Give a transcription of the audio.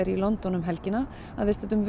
í London um helgina að viðstöddum